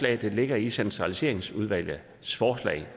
der ligger i centraliseringsudvalgets forslag